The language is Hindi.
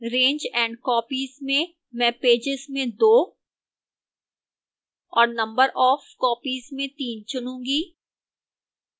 range and copies में मैं pages में 2 और number of copies में 3 चुनूंगी